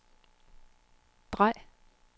drej